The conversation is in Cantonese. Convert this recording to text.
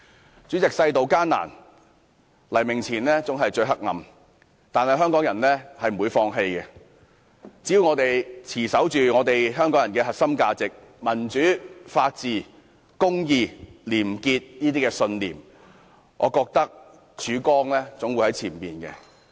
代理主席，世道艱難，黎明前總是最黑暗的，但香港人不會放棄，只要我們持守着香港人的核心價值，即民主、法治、公義、廉潔的信念，前面總有曙光。